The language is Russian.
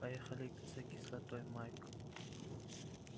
поехали за кислотой майк